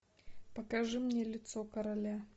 покажи мне лицо короля